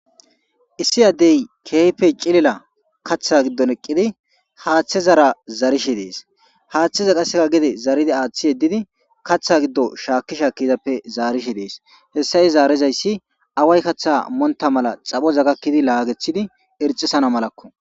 Issi addey keehppe cilila kaththa giddon eqqidi haaththe zara zarishe dees haaththeza qaseka gede zaridi aaththi yeddidi kaththa giddo shaakki sha kizappe zaarishe dees hessa he zaarezayssi away kaththa monta mala xaphoza gakkidi laagethidi irxisana malakko.